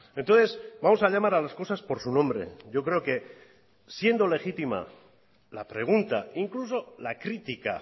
entonces vamos a llamar a las cosas por su nombre yo creo que siendo legítima la pregunta incluso la crítica